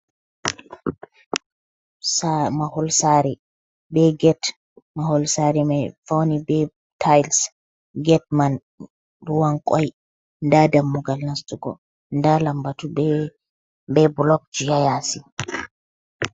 Maholsare be get, Maholsari mai fauni be tayis get man ruwan koy nda dammugal nastugo, nda lambatu be bulokji hayasi.